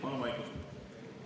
Palun vaikust!